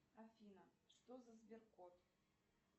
афина что за сберкот